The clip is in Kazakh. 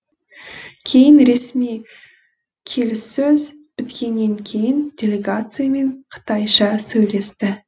кейін ресми келіссөз біткеннен кейін делегациямен қытайша сөйлесті